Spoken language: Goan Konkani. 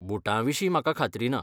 बूटां विशीं म्हाका खात्री ना.